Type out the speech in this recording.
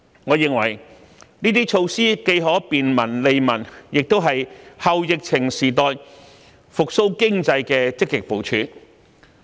我認為，這些措施既可便民、利民，亦是"後疫情時代"復蘇經濟的積極部署。